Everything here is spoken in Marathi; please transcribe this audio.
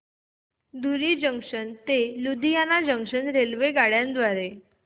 धुरी जंक्शन ते लुधियाना जंक्शन रेल्वेगाड्यां द्वारे